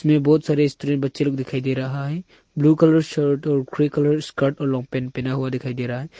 में बहुत सारे स्त्री बच्चे लोग दिखाई दे रहा है ब्ल्यू कलर शर्ट और ग्रे कलर स्कर्ट और लॉन्ग पेंट पहना हुआ दिखाई दे रहा है।